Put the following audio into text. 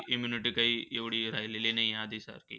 Immunity काही एवढी राहिलेली नाही आधीसारखी.